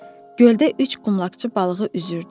Göldə üç qumlaqçı balığı üzürdü.